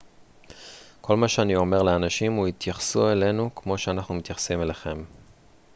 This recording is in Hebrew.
כל מה שאני אומר לאנשים הוא התייחסו אלינו כמו שאנחנו מתייחסים אליכם